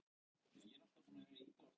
Hætt verði að styrkja Hraðbraut